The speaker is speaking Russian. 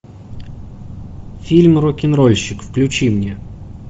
фильм рокенрольщик включи мне